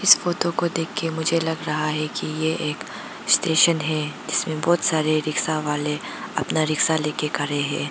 इस फोतो को देख के मुझे लग रहा है कि ये एक स्टेशन है जिसमें बहुत सारे रिक्सा वाले अपना रिक्सा लेके खरे हैं।